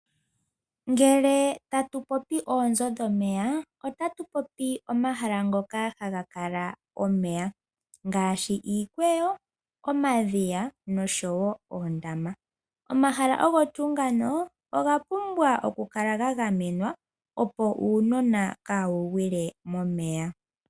Ngele tatu popi oonzo dhomeya otatu popi omahala ngoka haga kala omeya ngaashi iikweyo, omadhiya noshowo oondama. Omahala ogo tuu ngano oga pumbwa oku kala ga gamwena opo uunona kaawu gwile momeya.